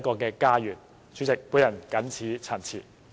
代理主席，我謹此陳辭。